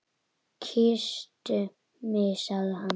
Kysstu mig sagði hann.